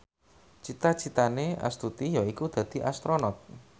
cita citane Astuti yaiku dadi Astronot